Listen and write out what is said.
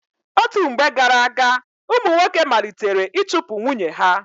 Otú mgbe gara-aga, ụmụ nwoke malitere ịchụpu nwunye ha.